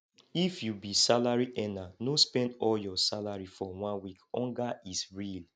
if you be salary earner no spend all your salary for one week hunger is real